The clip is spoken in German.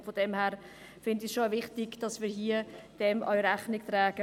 Und deshalb finde ich es schon auch wichtig, dass wir dem Rechnung tragen.